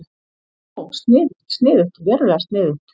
Ó, sniðugt, sniðugt, verulega sniðugt.